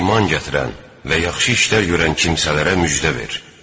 İman gətirən və yaxşı işlər görən kimsələrə müjdə ver.